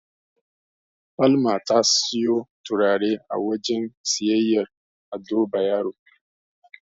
Salma ta siyo turare a wajen siyayyar Ado Bayero.